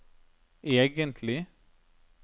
egentlig